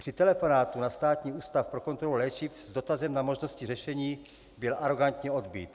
Při telefonátu na Státní ústav pro kontrolu léčiv s dotazem na možnosti řešení byl arogantně odbyt.